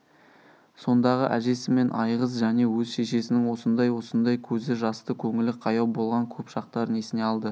сондағы әжесі мен айғыз және өз шешесінің осындай-осындай көзі жасты көңілі қаяу болған көп шақтарын есіне алды